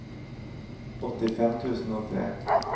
åttifem tusen og tre